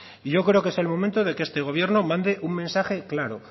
y yo creo que es el momento que este gobierno mande una mensaje claro